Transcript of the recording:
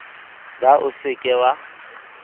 ba o se ke wa